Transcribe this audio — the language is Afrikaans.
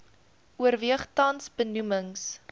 oorweeg tans benoemings